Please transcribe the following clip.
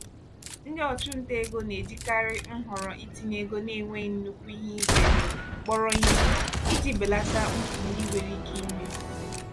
ndị ọchụnta ego na-ejikarị nhọrọ itinye ego na-enweghị nnukwu ihe ize ndụ kpọrọ ihe iji belata mfu ndị nwere ike ime.